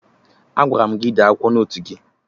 Agwara m gị dee akwụkwọ n'otu gị!